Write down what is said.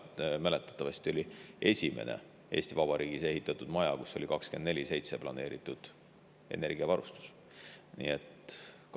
Muuseas, see maja, mäletatavasti, oli esimene Eesti Vabariigis ehitatud maja, kus oli energiavarustus planeeritud 24/7.